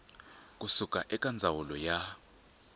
ku suka eka ndzawulo ya